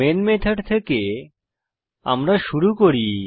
main method থেকে আমরা শুরু করি